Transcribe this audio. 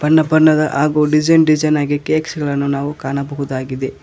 ಬಣ್ಣ ಬಣ್ಣದ ಹಾಗು ಡಿಸೈನ್ ಡಿಸೈನ್ ಆಗಿ ಕಾಕ್ಸ್ ಗಳನ್ನು ನಾವು ಕಾಣಬಹುದಾಗಿದೆ.